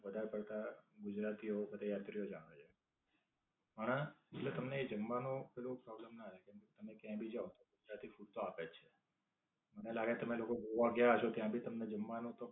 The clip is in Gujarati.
વધારે પડતા ગુજરાતી યાત્રિકો જ આવે છે. હા, એટલે તમને એ જમવાનો પેલો problem ના રેય. કેમકે તમે ક્યાંય ભી જાઓ ગુજરાતી food તો આપે જ છે. મને લાગે છે તમે લોકો ગોવા ગયા હશો ત્યાં ભી તમને જમવાનું તો